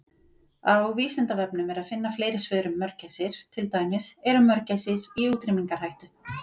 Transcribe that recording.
Á Vísindavefnum er að finna fleiri svör um mörgæsir, til dæmis: Eru mörgæsir í útrýmingarhættu?